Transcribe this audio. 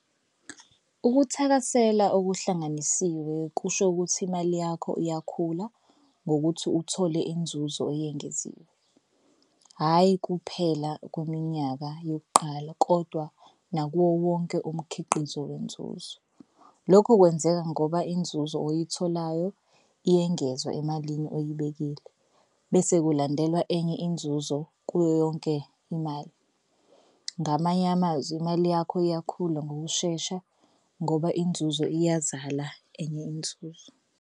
Ukuthakasela okuhlanganisiwe kusho ukuthi imali yakho iyakhula ngokuthi uthole inzuzo eyengeziwe. Hhayi kuphela kweminyaka yokuqala kodwa nakuwo wonke umkhiqizo wenzuzo. Lokho kwenzeka ngoba inzuzo oyitholayo iyengezwa emalini oyibekile bese kulandelwa enye inzuzo kuyoyonke imali. Ngamanye amazwi imali yakho iyakhula ngokushesha ngoba inzuzo iyazala enye inzuzo.